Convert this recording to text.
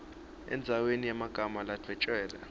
endzaweni yemagama ladvwetjelwe